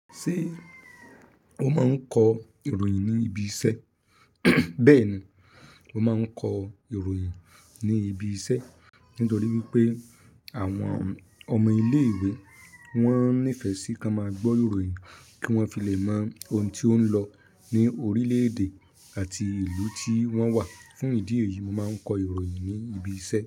Ṣé o máa ń kọ ìròyìn ní ibi iṣẹ́? Bẹ́ẹ̀ni, mo máa ń kọ ìròyìn ní ibi iṣẹ́. Nítorí wípé àwọn ọmọ ilé ìwé wọ́n nífẹ̀ẹ́ sí kí wọ́n máa gbọ́ ìròyìn kí wọ́n fi lè mọ ohun tí ó ń lọ ní orílẹ̀-èdè àti ìlú tí wọ́n wà. Fún ìdí èyí, mo máa ń kọ ìròyìn ní ibi iṣẹ́